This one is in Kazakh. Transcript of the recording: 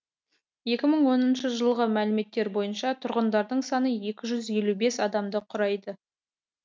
екі мың оныншы жылғы мәліметтер бойынша тұрғындарының саны екі жүз елу бес адамды құрайды